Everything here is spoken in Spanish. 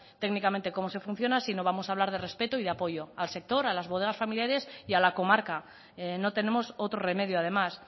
técnicamente cómo se funciona sino que vamos a hablar de respeto y de apoyo al sector a las bodegas familiares y a la comarca no tenemos otro remedio además